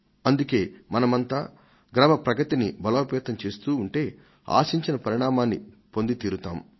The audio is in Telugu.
అందుకే మనమంతా గ్రామ ప్రగతిని బలోపేతం చేస్తూ ఉంటే ఆశించిన పరిణామాన్ని పొంది తీరుతాం